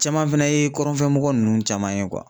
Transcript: Caman fɛnɛ ye kɔrɔnfɛ mɔgɔ nunnu caman ye